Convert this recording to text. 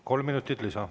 Kolm minutit lisa.